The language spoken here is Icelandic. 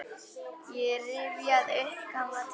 Ég rifjaði upp gamla tíma.